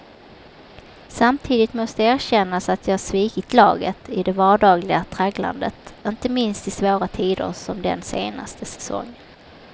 Samtidigt måste erkännas att jag svikit laget i det vardagliga tragglandet, inte minst i svåra tider som den senaste säsongen.